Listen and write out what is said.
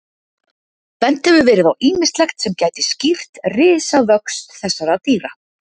Bent hefur verið á ýmislegt sem gæti skýrt risavöxt þessara dýra.